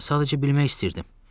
Sadəcə bilmək istəyirdim.